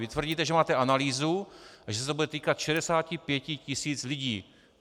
Vy tvrdíte, že máte analýzu a že se to bude týkat 65 tisíc lidí.